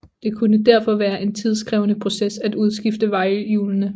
Det kunne derfor være en tidskrævende proces at udskifte vejhjulene